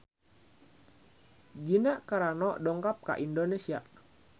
Gina Carano dongkap ka Indonesia